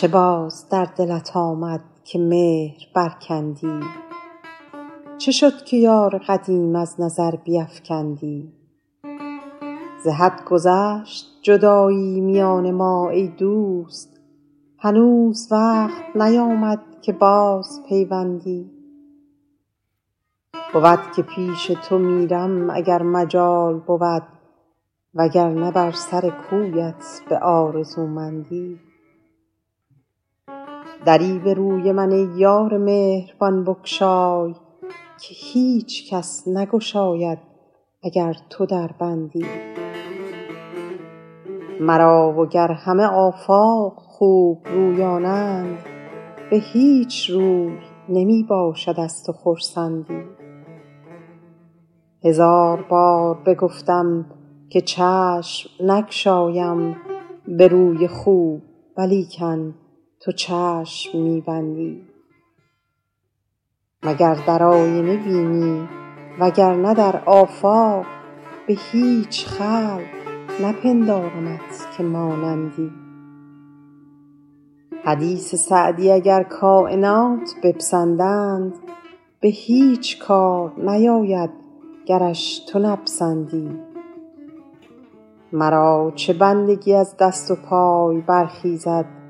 چه باز در دلت آمد که مهر برکندی چه شد که یار قدیم از نظر بیفکندی ز حد گذشت جدایی میان ما ای دوست هنوز وقت نیامد که بازپیوندی بود که پیش تو میرم اگر مجال بود وگرنه بر سر کویت به آرزومندی دری به روی من ای یار مهربان بگشای که هیچ کس نگشاید اگر تو در بندی مرا وگر همه آفاق خوبرویانند به هیچ روی نمی باشد از تو خرسندی هزار بار بگفتم که چشم نگشایم به روی خوب ولیکن تو چشم می بندی مگر در آینه بینی وگرنه در آفاق به هیچ خلق نپندارمت که مانندی حدیث سعدی اگر کاینات بپسندند به هیچ کار نیاید گرش تو نپسندی مرا چه بندگی از دست و پای برخیزد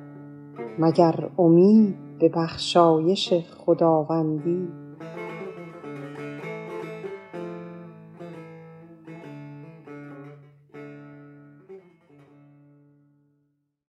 مگر امید به بخشایش خداوندی